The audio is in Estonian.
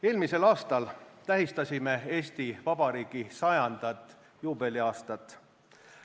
Eelmisel aastal tähistasime Eesti Vabariigi sajandat, juubeliaastat.